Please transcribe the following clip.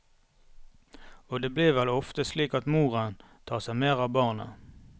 Og det blir vel ofte slik at moren tar seg mer av barnet.